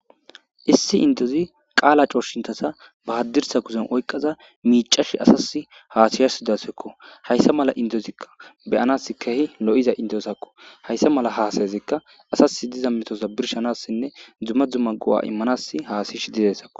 issi indozi qaala coshintasa bahaddirsa kuzen oyqaza miicash asas haasiyassi dasekko hayssa mala indozikka beyanas kehi lo7iza indosakko hayssa mala haasayezekka asasi diza metosa birshanassinne dzuma dzuma go7a immanas haasiysh didesakko